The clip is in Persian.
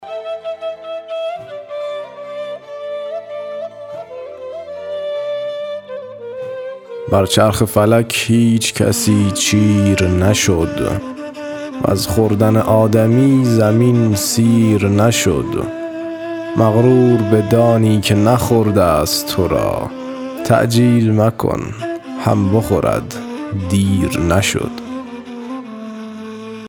بر چرخ فلک هیچ کسی چیر نشد وز خوردن آدمی زمین سیر نشد مغرور بدانی که نخورده ست تو را تعجیل مکن هم بخورد دیر نشد